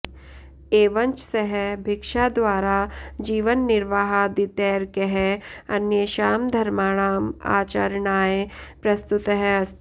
एवञ्च सः भिक्षाद्वारा जीवननिर्वाहादितैर्कैः अन्येषां धर्माणाम् आचरणाय प्रस्तुतः अस्ति